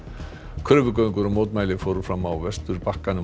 kröfugöngur og mótmæli fóru fram á Vesturbakkanum og